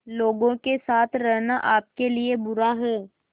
लोगों के साथ रहना आपके लिए बुरा है